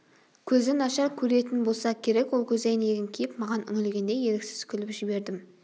көзі нашар көретін болса керек ол көзәйнегін киіп маған үңілгенде еріксіз күліп жібердім